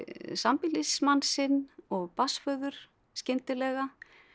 sambýlismann sinn og barnsföður skyndilega